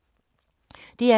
DR K